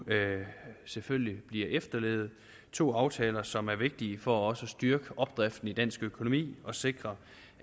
selvfølgelig bliver efterlevet det to aftaler som er vigtige for også at styrke opdriften i dansk økonomi og sikre